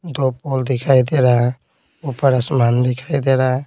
दो पोल दिखाई दे रहा है ऊपर आसमान दिखाई दे रहा है।